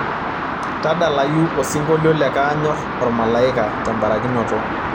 tadalayu osingolio le kaanyor ormalaika tembarakinoto